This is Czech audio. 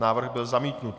Návrh byl zamítnut.